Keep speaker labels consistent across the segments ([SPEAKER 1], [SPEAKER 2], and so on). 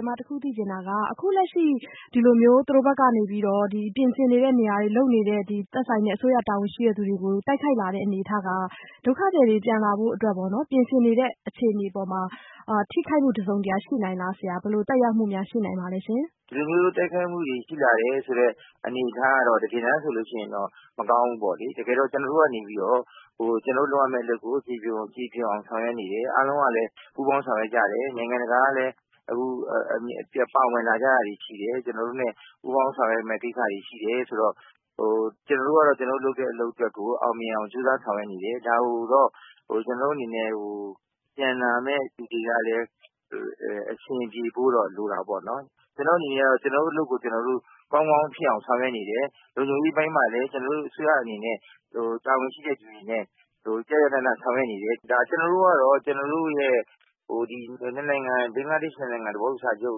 [SPEAKER 1] ျမအခုသိချင်တာက အခုလက်ရှိ ဒီလိုမျိုး သူတို့ဘက်ကနေပြီးတော့ ပြင်ဆင်နေတဲ့ နေရာတွေ လုပ်နေတဲ့ အစိုးရ တာဝန်ရှိတဲ့သူတွေကို တိုက်ခိုက်လာတဲ့ အနေအထားက ဒုက္ခသည်တွေ ပြန်လာဖို့အတွက် ပြင်ဆင်နေတဲ့ အခြေအနေတွေအပေါ်မှာ ထိခိုက်မှုတစုံတရာရှိနိုင်သလားဆရာ။ ဘယ်လိုသက်ရောက်မှုများ ရှိနိုင်ပါသလဲ။
[SPEAKER 2] ဒီလို တိုက်ခိုက်မှုတွေ ရှိလာတယ်ဆိုတဲ့ အနေအထားကတော့ တကယ်တမ်းဆိုရင်တော့ မကောင်းဘူးလေ။ တကယ်တော့ ကျနော်တို့ကနေပြီးတော့ ကျနော်တို့ လုပ်ရမယ့်အလုပ်ကို ကျေပွန်အောင်ဆောင်ရွက်နေတယ်။ အားလုံးကလည်း ပူးပေါင်းဆောင်ရွက်ကြတယ်။ နိုင်ငံတကာကလည်း အခုပါဝင်လာကြတာတွေ ရှိတယ်။ ကျနော်တို့နဲ့ ပူးပေါင်းဆောင်ရွက်မယ့် ကိစ္စတွေရှိတယ်ဆိုတော့ ကျနော်တို့ကလည်း ကျနော်တို့ လုပ်တဲ့ အလုပ်ကို အောင်မြင်အောင် ကြိုးစားဆောင်ရွက်နေတယ်။ ဒါကိုတော့ ကျနော်တို့အနေနဲ့ ပြန်လာမယ့်လူတွေကလည်း အဆင်ပြေဖို့တော့ လိုတာပေါ့နော်။ ကျနော်တို့အနေနဲ့ကတော့ ကျနော်တို့အလုပ်ကို ကျနော်တို့ ကောင်းကောင်းဖြစ်အောင်ဆောင်ရွက်နေတယ်။ လုံခြုံရေးအပိုင်းမှာလည်း ကျနော်တို့အစိုးရအနေနဲ့ တာဝန်ရှိတဲ့သူတွေနဲ့ ကျကျနန ဆောင်ရွက်နေတယ်။ ကျနော်တို့ကတော့ ကျနော်တို့ရဲ့ ဘင်္ဂလားဒေ့ရှ် ၂ နိုင်ငံ သဘောတူစာချုပ်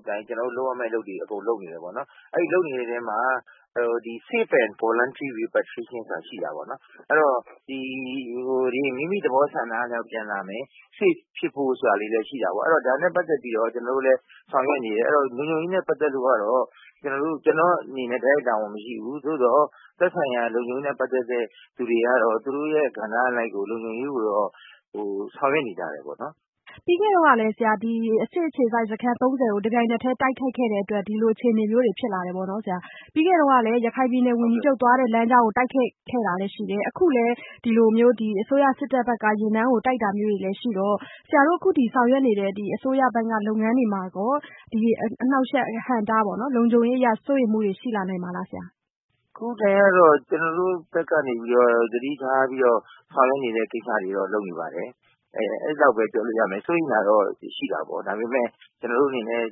[SPEAKER 2] အတိုင်း ကျနော်တို့ လုပ်ရမယ့်အလုပ်တွေအကုန်လုပ်နေတယ်။ အဲဒီလုပ်နေတဲ့အထဲမှာ safe and voluntary repatriation ရှိတာပေါ့နော်။ အဲဒီတော့ ဒီ မိမိ သဘောဆန္ဒအလျောက်ပြန်လာမယ်။ Safe ဖြစ်ဖို့ဆိုတာလေးလည်း ရှိတာပေါ့။ ဒါနဲ့ ပတ်သက်ပြီးတော့ ကျနော်တို့လည်း ဆောင်ရွက်နေတယ်။ လုံခြုံရေးနဲ့ ပတ်သက်လို့ကတော့ ကျနော့်အနေနဲ့ တိုက်ရိုက်တာဝန်မရှိဘူး။ သို့သော် သက်ဆိုင်ရာ လုံခြုံရေးနဲ့ ပတ်သက်တဲ့သူတွေကတော့ သူတို့ ကဏ္ဍအလိုက်ကို လုံခြုံရေးကိုတော့ ဆောင်ရွက်နေကြတယ်ပေါ့နော်။
[SPEAKER 1] ပြီးခဲ့တုန်းကလည်း စစ်အခြေစိုက်စခန်း ၃၀ ကို တပြိုင်နက်ထဲ တိုက်ခိုက်ခဲ့တဲ့အတွက် ဒီလိုအခြေအနေမျိုးတွေ ဖြစ်လာတယ်ပေါ့နော်။ ပြီးခဲ့တုန်းကလည်း ရခိုင်ပြည်နယ်ဝန်ကြီးချုပ်သွားတဲ့ လမ်းကြောင်းကို တိုက်ခိုက်ခဲ့တာလည်း ရှိတယ်။ အခုလည်း ဒီလိုမျိုး အစိုးရစစ်တပ်ယာဉ်တန်းကို တိုက်တာမျိုးတွေရှိတော့ ဆရာတို့အခုဆောင်ရွက်နေတဲ့ အစိုးရဘက်ကလုပ်ငန်းတွေမှာရော အနှောင့်အယှက် အဟန့်အတားပေါ့နော် လုံခြုံရေးအရ စိုးရိမ်မှုတွေ ရှိလာနိုင်ပါသလား။
[SPEAKER 2] အခုအတိုင်းကတော့ ကျနော်တို့ဘက်ကနေပြီးတော့ သတိထားပြီးတော့ ဆောင်ရွက်နေတဲ့ ကိစ္စတွေတော့လုပ်နေပါတယ်။ အဲဒီလောက်ပဲ ပြောလို့ ရမယ်။ စိုးရမ်တာကတော့ ရှိတာပေါ့ ဒါပေမယ့် ကျနော်တို့အနေနဲ့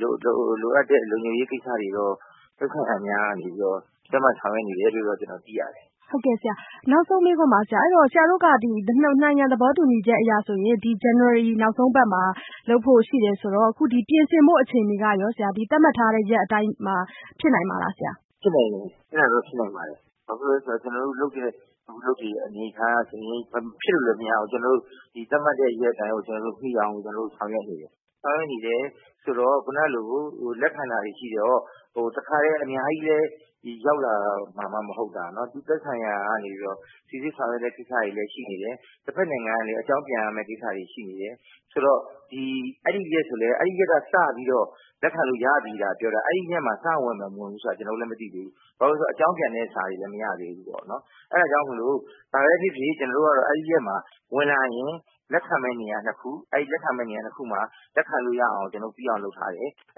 [SPEAKER 2] လိုအပ်တဲ့ လုံခြုံရေးကိစ္စတွေကိုတော့ သက်ဆိုင်ရာများကနေပြီးတော့ သတ်မှတ်ဆောင်ရွက်နေတယ်လို့ ကျနော်သိရတယ်။
[SPEAKER 1] ဟုတ်ကဲ့ဆရာ နောက်ဆုံးမေးခွန်းပါ။ ဆရာတို့က ၂ နိုင်ငံ သဘောတူညီချက်အရဆိုရင် ဇန်နဝါရီ နောက်ဆုံးအပတ်မှာ လုပ်ဖို့ ရှိတယ်ဆိုတော့ အခုပြင်ဆင်ဖို့အချိန်တွေကရော ဒီသတ်မှတ်ထားတဲ့ ရက်အတိုင်းမှာ ဖြစ်နိုင်ပါ့မလားဆရာ
[SPEAKER 2] ဖြစ်နိုင်တယ်။ အဲဒါတော့ ဖြစ်နိုင်ပါတယ်။ ဘာဖြစ်လို့လဲဆိုတော့ အခုကျနော်တို့လုပ်တဲ့အလုပ်အနေအထားအရဆိုရင် မဖြစ်လို့လဲမရဘူး။ ကျနော်တို့ သတ်မှတ်တဲ့ရက်အတိုင်းကို ကျနော်တို့ မီအောင်လို့ ဆောင်ရွက်နေတယ်။ ဆောင်ရွက်နေတယ်ဆိုတော့ ခုနကလို လက်ခံတာတွေရှိတော့ တခါတည်း အများကြီးလည်း ရောက်လာမှာမှ မဟုတ်တာ။ သက်ဆိုင်ရာကနေပြီးတော့ စိစစ်ဆောင်ရွက်တဲ့ ကိစ္စတွေလည်း ရှိနေတယ်။ တဖက်နိုင်ငံကလည်း အကြောင်းပြန်ရမယ့် ကိစ္စတွေ ရှိနေတယ် ဆိုတော့။ အဲဒီရက်ဆိုရင်လည်း အဲဒီရက်ကနေစပြီးတော့ လက်ခံလို့ရပြီသာပြောတာ အဲဒီနေ့မှာ စဝင်မယ် မဝင်ဘူးဆိုတာက ကျနော်တို့လည်း မသိသေးဘူး။ ဘာဖြစ်လို့လဲဆိုတော့ အကြောင်းပြန်တဲ့ စာတွေလည်း မရသေးဘူးပေါ့နော်။ အဲဒါကြောင့်မို့လို့ ဘာပဲဖြစ်ဖြစ် ကျနော်တို့ကတော့ အဲဒီရက်မှာ ဝင်လာရင် လက်ခံမယ့်နေရာ ၂ ခု ၊ အဲဒီ လက်ခံမယ့်နေရာ၂ခုမှာ လက်ခံလို့ရအောင် ကျနော်တို့ ပြီးအောင်လုပ်ထားတယ်။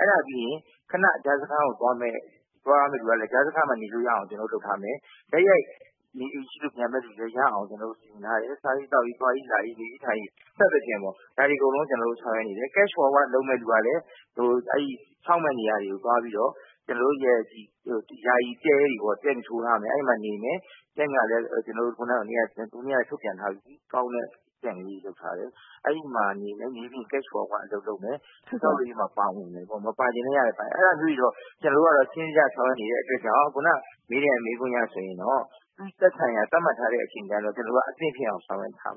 [SPEAKER 2] အဲဒါပြီးရင် ခဏ ကြားစခန်းကို သွားမယ့်လူကလည်း ကြားစခန်းမှာနေလို့ရအောင် ကျနော်တို့ လုပ်ထားမယ်။ နေအိမ်ရှိလို့ ပြန်မယ့် လူတွေအတွက်လည်း ကျနော်တို့ စီစဉ်ထားတယ်။ စားရေး၊ သောက်ရေး၊ သွားရေးလာရေး နေရေးထိုင်ရေး စသဖြင့်ပေါ့ ဒါတွေအကုန်လုံး ကျနော်တို့ဆောင်ရွက်နေတယ်။ Cash Of Work လုပ်မယ့်သူတွေကလည်း ဆောက်မယ့်နေရာတွေကို သွားပြီးတော့ ကျနော်တို့ ယာယီတဲတွေထိုးထားမယ် အဲဒီနေရာတွေမှာ နေမယ်။ Tent ကလည်း ကျနော်တို့ ဟိုနေ့က ထုတ်ပြန်ထားပြီးပြီ ကောင်းတဲ့ Tent လေးတွေမှာ နေမယ်။ နေပြီးရင် Cash Of Work အလုပ်လုပ်မယ် ပါဝင်မယ်ပေါ့ ၊ မပါချင်လည်းရတယ်၊ ပါရင်လည်း ရတယ် အဲဒါမျိုးလေးတွေတော့ ကျနော်တို့က စနစ်တကျဆောင်ရွက်နေတဲ့အတွက်ကြောင့် ခုနမေးတဲ့ မေးခွန်းအရဆိုရင်တော့ သက်ဆိုင်ရာ သတ်မှတ်ထားတဲ့အချိန်အတိုင်းမှာ ကျနော်တို့က အသင့်ဖြစ်အောင် ဆောင်ရွက်ထားပါ